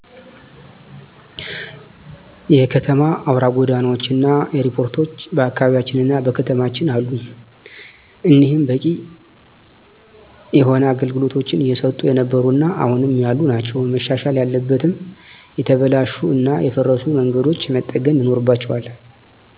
የከተማ አውራ ጎዳናዎች እና ኤርፖርቶች በአካባቢያችንና በከተማችን አሉ። እኒህም በቂ የሆነ አገልግሎቶች እየሰጡ የነበሩ እና አሁንም ያሉ ናቸው። መሻሻል ያለበትም የተበላሹ እና የፈረሱ መንገዶች መጠገን ይኖርባቸዋል።